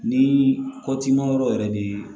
Ni kɔti ma yɔrɔ yɛrɛ de